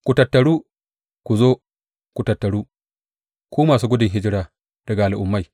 Ku tattaru ku zo; ku taru, ku masu gudun hijira daga al’ummai.